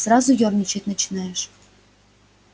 сразу ёрничать начинаешь